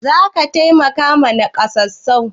Za ka taimakawa nakasassu?